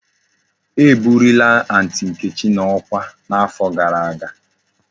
E buliri aunty nkechi na okwa na afo gara aga